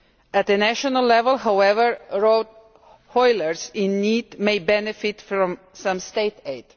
At a national level, however, road hauliers in need may benefit from some state aid.